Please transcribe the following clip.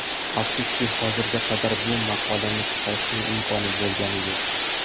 Afsuski, hozirgi qadar bu maqolani chiqarishning imkoni bo‘lgani yo‘q.